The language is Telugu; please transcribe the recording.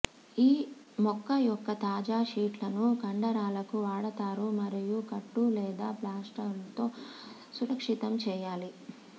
ఈ మొక్క యొక్క తాజా షీట్లను కండరాలకు వాడతారు మరియు కట్టు లేదా ప్లాస్టర్తో సురక్షితం చేయాలి